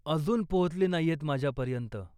अजून पोहोचली नाहीयेत माझ्यापर्यंत.